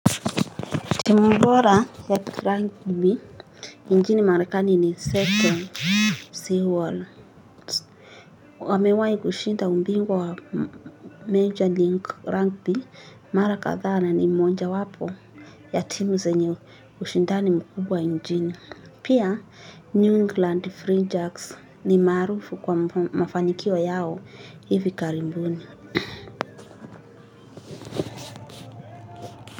Timu bora ya Crank B nchini marekani ni Seto Sea Wall. Wamewahi kushinda umbingwa wa Major Link Crank B. Mara kadhaa na ni moja wapo ya timu zenye kushindani mkubwa nchini. Pia New England Fringe Arts ni maarufu kwa mafanikio yao hivi karibuni.